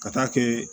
Ka taa kɛ